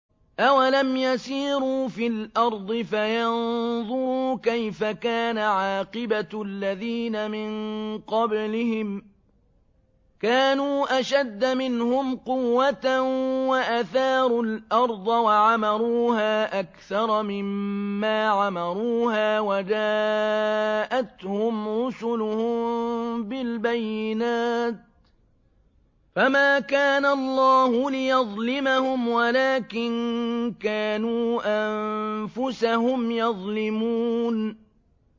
أَوَلَمْ يَسِيرُوا فِي الْأَرْضِ فَيَنظُرُوا كَيْفَ كَانَ عَاقِبَةُ الَّذِينَ مِن قَبْلِهِمْ ۚ كَانُوا أَشَدَّ مِنْهُمْ قُوَّةً وَأَثَارُوا الْأَرْضَ وَعَمَرُوهَا أَكْثَرَ مِمَّا عَمَرُوهَا وَجَاءَتْهُمْ رُسُلُهُم بِالْبَيِّنَاتِ ۖ فَمَا كَانَ اللَّهُ لِيَظْلِمَهُمْ وَلَٰكِن كَانُوا أَنفُسَهُمْ يَظْلِمُونَ